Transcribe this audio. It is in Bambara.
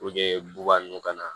bubagan nunnu ka na